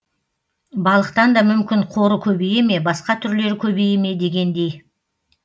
балықтан да мүмкін қоры көбейе ме басқа түрлері көбейе ме дегендей